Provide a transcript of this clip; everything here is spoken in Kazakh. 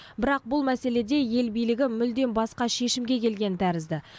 бірақ бұл мәселеде ел билігі мүлдем басқа шешімге келген тәрізді